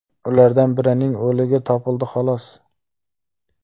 Ulardan birining o‘ligi topildi, xolos.